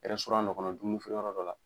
Ɛrɛsɔran dɔ kɔnɔ dumuni feere yɔrɔ dɔ la